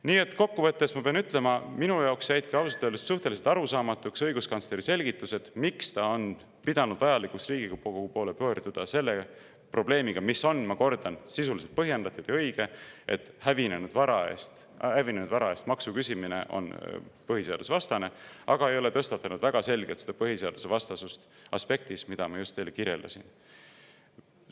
Nii et kokkuvõttes ma pean ütlema, et minu jaoks jäid ausalt öeldes suhteliselt arusaamatuks õiguskantsleri selgitused, miks ta on pidanud vajalikuks Riigikogu poole pöörduda selle probleemiga, mis on, ma kordan, sisuliselt põhjendatud ja õige, et hävinenud vara eest maksu küsimine on põhiseadusvastane, aga ei ole tõstatanud väga selgelt põhiseadusvastasust aspektis, mida ma just teile kirjeldasin.